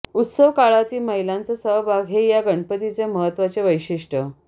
उत्सव काळातील महिलांचा सहभाग हे या गणपतीचे महत्त्वाचे वैशिष्टय़